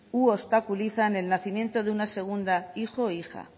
u obstaculizan el nacimiento de un segundo hijo o hija